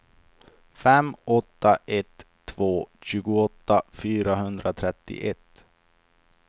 fem åtta ett två tjugoåtta fyrahundratrettioett